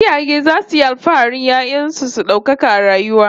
Iyaye zasu yi alfahari 'ya'yan su su daukaka a rayuwa